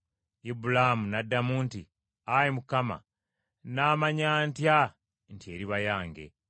Ibulaamu n’addamu nti, “Ayi Mukama nnaamanya ntya nti eriba yange?”